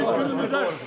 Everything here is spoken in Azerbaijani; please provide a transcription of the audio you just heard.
Bugünkü günümüzə şükür.